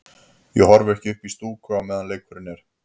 Ég horfi ekki upp í stúku á meðan leikurinn er.